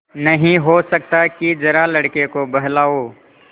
नहीं हो सकता कि जरा लड़के को बहलाओ